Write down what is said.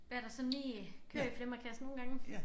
Hvad der sådan lige kører i flimmerkassen nogle gange